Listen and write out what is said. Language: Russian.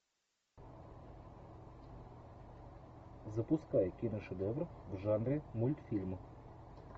запускай киношедевр в жанре мультфильм